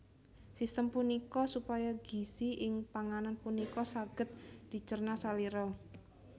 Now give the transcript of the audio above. Sistem punika supaya gizi ing panganan punika saged dicerna salira